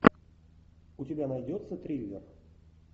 у тебя найдется триллер